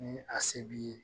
Ni a se b'i ye